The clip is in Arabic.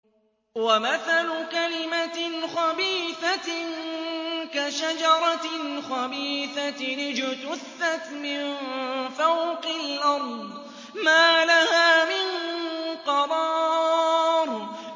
وَمَثَلُ كَلِمَةٍ خَبِيثَةٍ كَشَجَرَةٍ خَبِيثَةٍ اجْتُثَّتْ مِن فَوْقِ الْأَرْضِ مَا لَهَا مِن قَرَارٍ